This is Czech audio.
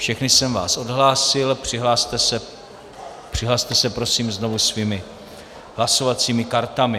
Všechny jsem vás odhlásil, přihlaste se prosím znovu svými hlasovacími kartami.